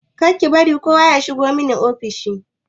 Kar ki bari kowa ya shigo min ofis!